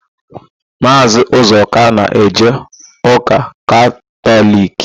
Maazị Ụzọka na-eje ụka Katọliki.